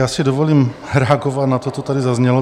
Já si dovolím reagovat na to, co tady zaznělo.